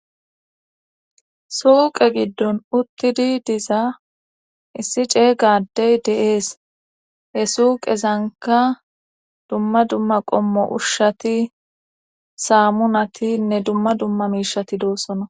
Suqe gidon utidi diza issi ceega adey de'es he suqezanika dumma dumma qomo ushati samunatinee dumma dumma misheti de'osona .